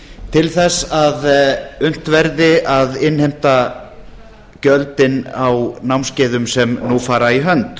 til þess að unnt verði að innheimta gjöldin á námskeiðum sem nú fara í hönd